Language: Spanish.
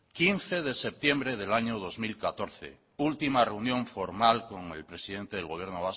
quince de septiembre del año dos mil catorce última reunión formal con el presidente